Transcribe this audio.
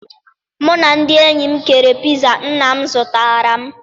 Mụ na ndị enyi m keere piza nna m zụtara m.